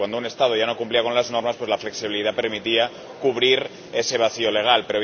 es decir, cuando un Estado ya no cumplía las normas, la flexibilidad permitía cubrir ese vacío legal.